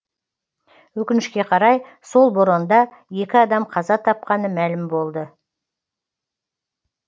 өкінішке қарай сол боранда екі адам қаза тапқаны мәлім болды